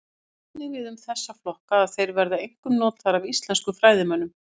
Það á einnig við um þessa flokka að þeir verða einkum notaðir af íslenskum fræðimönnum.